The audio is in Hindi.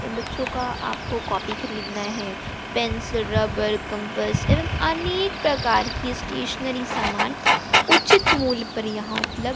या बच्चों का आपको कॉफी खरीदना है पेंसिल रबर कंपस एवं अनेक प्रकार की स्टेशनरी सामान उचित मूल्य पर यहां उपल--